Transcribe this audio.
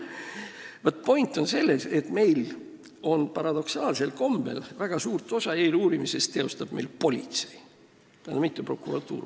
Point on selles, et paradoksaalsel kombel teostab meil väga suurt osa eeluurimisest politsei, mitte prokuratuur.